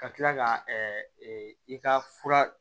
Ka kila ka i ka fura